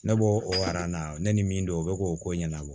Ne b'o o na ne ni min dɔn o bɛ k'o ko ɲɛnabɔ